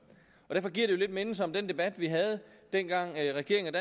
derfor giver det lidt mindelser om den debat vi havde dengang regeringen